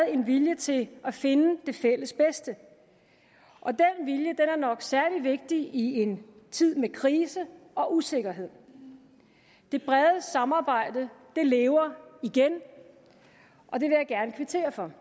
en vilje til at finde det fælles bedste og den vilje er nok særlig vigtig i en tid med krise og usikkerhed det brede samarbejde lever igen og det vil jeg gerne kvittere for